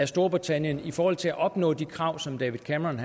storbritannien i forhold til at opnå de krav som david cameron